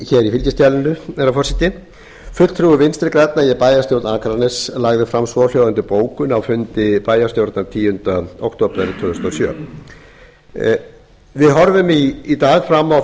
fylgiskjalinu herra forseti fulltrúi vinstri grænna í bæjarstjórn akraness lagði fram svohljóðandi bókun á fundi bæjarstjórnar tíunda október við horfum í dag fram á